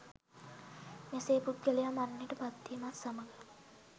මෙසේ පුද්ගලයා මරණයට පත්වීමත් සමග